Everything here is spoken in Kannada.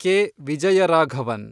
ಕೆ. ವಿಜಯರಾಘವನ್